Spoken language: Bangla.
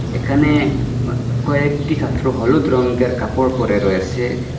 এখানে অ কয়েকটি ছাত্র হলুদ রঙ্গের কাপড় পরে রয়েসে।